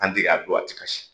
a don a tɛ kasi .